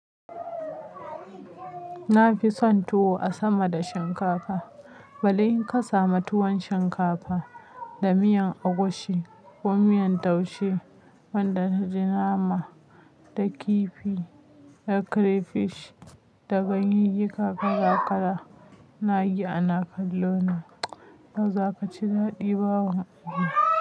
Na fi son tuwo a sama da shinkafa. Balle in ka samu tuwon shinkafa da miyan agushi ko miyan taushe wanda ya ji nama da kifi da crayfish da ganyayyaka kala-kala, ina yi ana kallo na. Yauzaka ci daɗi bawa.